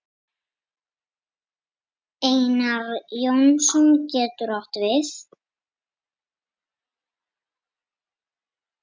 Einar Jónsson getur átt við